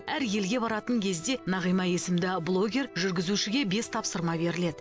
әр елге баратын кезде нағима есімді блогер жүргізушіге бес тапсырма беріледі